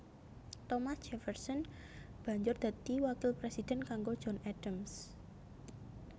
Thomas Jefferson banjur dadi wakil presiden kanggo John Adams